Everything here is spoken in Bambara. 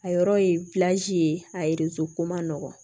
A yɔrɔ ye ye a ko man nɔgɔn